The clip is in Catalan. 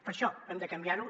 per això hem de canviar ho